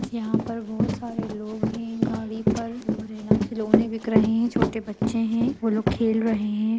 यहाँ पर बोहोत सारे लोग हैं गाड़ी पर और है ना खिलौने बिक रहे हैं। छोटे बच्चे हैं वो लोग खेल रहे हैं।